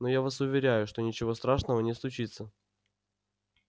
но я вас уверяю что ничего страшного не случится